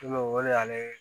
Ne o de y'ale